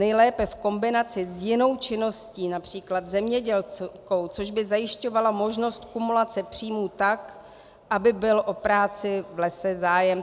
Nejlépe v kombinaci s jinou činností, například zemědělskou, což by zajišťovalo možnost kumulace příjmů tak, aby byl o práci v lese zájem.